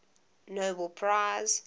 nobel prize